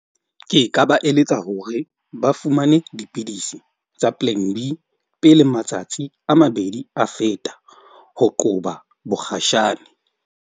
Ke ka ba eletsa hore ba fumane dipidisi tsa pele matsatsi a mabedi a feta. Ho qoba bokgashane.